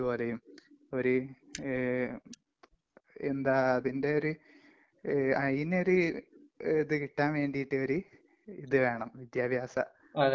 ഈയൊരു രാഷ്ട്രീയത്തിന് കേറണമെങ്കില് മറ്റേതൊരു ജോലിപോലെയും ഒര്...എന്താ...അതിന്റെയൊരു...അയ്‌നൊരു....ഇത് കിട്ടാൻ വേണ്ടീട്ട് ഒര് ഇത് വേണം. വിദ്യാഭ്യാസ...യോഗ്യത